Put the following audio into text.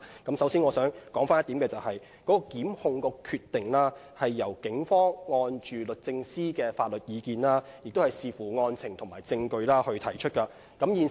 我首先想指出一點，提出檢控的決定，是由警方根據律政司的法律意見，並且視乎案情和證據而提出的。